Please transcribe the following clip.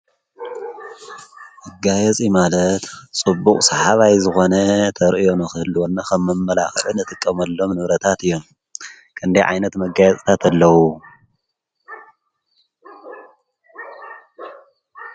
ኣጋየጽ ማለት ጽቡቕ ሰሓባይ ዝኾነ ተርእዮኖ ኽህልወና ኸመብ መላእኽዕን እትቀመሎም ንውረታት እዮም ከንዲ ዓይነት መጋያጽታት ኣለዉ ።